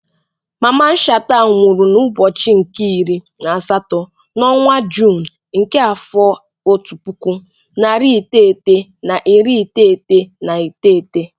Mamman Shatta nwụrụ n'ụbọchị nke iri na asatọ n'ọnwa Juun nke afọ otu puku, narị iteghete na iri iteghete na iteghete.